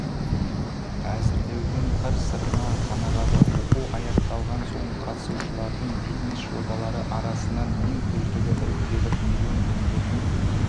әзірлеудің қыр-сырына қанығады оқу аяқталған соң қатысушылардың бизнес жобалары арасынан ең үздігі іріктеліп миллион теңгенің